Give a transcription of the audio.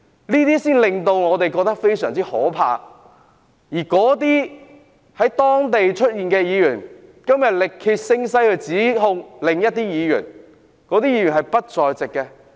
這才令我們感到非常害怕，而那些在現場出現的議員，今天力竭聲嘶地指控另一位議員，而那位議員是不在現場的。